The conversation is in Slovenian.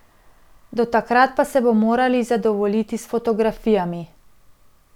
Do takrat pa se bomo morali zadovoljiti s fotografijami.